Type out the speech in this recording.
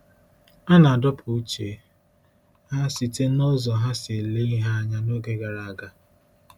A na-adọpụ uche ha site n’ụzọ ha si ele ihe anya n’oge gara aga.